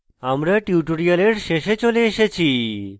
আমরা tutorial শেষে চলে এসেছি